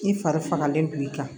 I fari fagalen don i kan